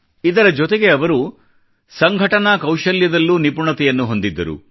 ಇದರ ಜೊತೆಗೆ ಅವರು ಸಂಘಟನಾ ಕೌಶಲ್ಯದಲ್ಲೂ ನಿಪುಣತೆಯನ್ನು ಹೊಂದಿದ್ದರು